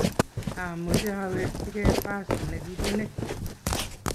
taameche awekchikei pasi nekipunei